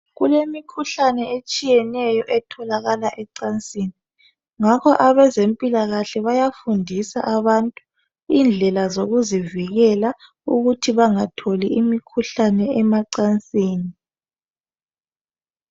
Kulemkhuhlane etshiyeneyo etholakala ecansini .Ngakho abezempilakahle bayafundisa abantu indlela zokuzivikela ukuthi bangatholi imikhuhlane emacansini .